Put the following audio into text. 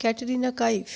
Katrina Kaif